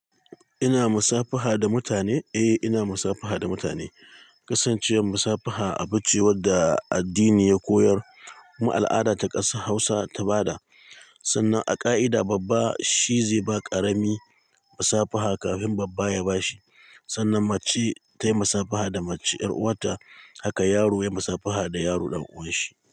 Ina musafaha da mutane? Eh, ina musafaha da mutane. Kasancewar musafaha abu ce wanda addini ya koyar, kuma al'ada ta ƙasa Hausa ta ba da, sannan a ƙa'ida babba shi zai ba ƙarami musafaha kafin babba ya ba shi. Sannan mace tayi musafaha da mace ƴar uwarta, haka yaro yayi musafaha da yaro ɗan uwan shi.